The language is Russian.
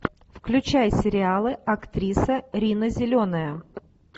включай сериалы актриса рина зеленая